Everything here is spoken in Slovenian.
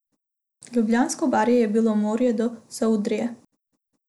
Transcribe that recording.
Ljubljansko barje je bilo moje do Savudrije!